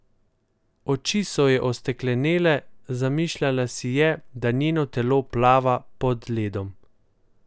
Oči so ji osteklenele, zamišljala si je, da njeno telo plava pod ledom.